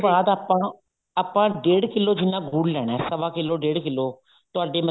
ਬਾਅਦ ਆਪਾਂ ਆਪਾਂ ਡੇੜ ਕਿੱਲੋ ਜਿੰਨਾ ਗੁੜ ਲੈਣਾ ਸਵਾ ਕਿੱਲੋ ਡੇੜ ਕਿੱਲੋ ਤੁਹਾਡੀ